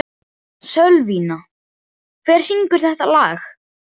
Sölvína, hver syngur þetta lag?